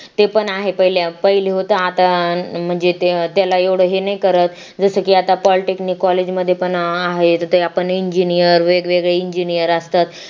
ते पण आहे पहिले होता आता म्हणजे ते त्याला एवढं हे नाही करत जसं की आता polytechnic college मध्ये पण आहे ते आपण engineer वेगवेगळ engineer असतात